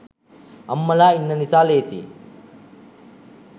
අම්මලා ඉන්න නිසා ‍ලේසියි.